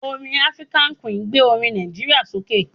Orin African Queen gbé orin Nàìjíríà sókè.